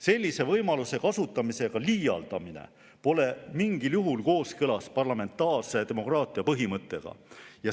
Sellise võimaluse kasutamisega liialdamine pole mingil juhul kooskõlas parlamentaarse demokraatia põhimõttega.